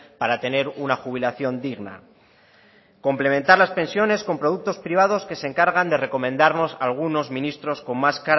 para tener una jubilación digna complementar las pensiones con productos privados que se encargan de recomendarnos algunos ministros con más